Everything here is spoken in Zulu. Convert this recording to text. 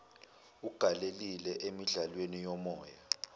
ugalelile emidlalweni yomoya